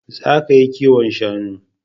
Za ka yi kiwon shanu